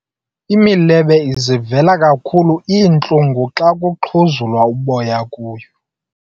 Imilebe izivela kakhulu iintlungu xa kuxhuzulwa uboya kuyo.